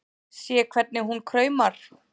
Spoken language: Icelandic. Sé hvernig hún kraumar.